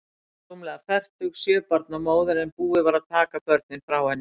Hún var rúmlega fertug, sjö barna móðir, en búið var að taka börnin frá henni.